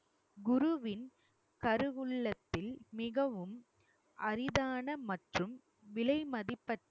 குருவின் கருவுல்லத்தில் மிகவும் அரிதான மற்றும் விலை மதிபற்ற